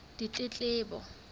ditletlebo